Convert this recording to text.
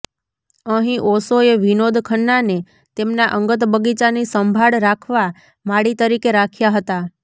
અહીં ઓશોએ વિનોદ ખન્નાને તેમના અંગત બગીચાની સંભાળ રાખવા માળી તરીકે રાખ્યા હતા